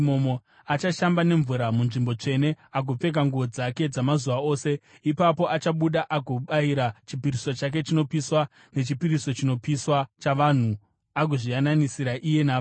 Achashamba nemvura munzvimbo tsvene agopfeka nguo dzake dzamazuva ose. Ipapo achabuda agobayira chipiriso chake chinopiswa nechipiriso chinopiswa chavanhu, agozviyananisira iye navanhu.